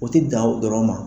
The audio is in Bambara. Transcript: O tɛ dan o dɔrɔn ma.